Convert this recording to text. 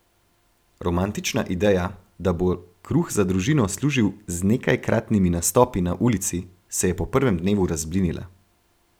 Romantična ideja, da bo kruh za družino služil z nekajkratnimi nastopi na ulici, se je po prvem dnevu razblinila.